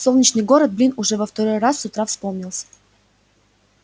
солнечный город блин уже второй раз с утра вспомнился